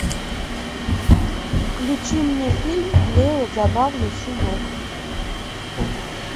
включи мне фильм клео забавный щенок